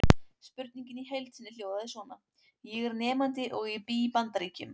Spurningin í heild sinni hljóðaði svona: Ég er nemandi og ég bý í Bandaríkjum.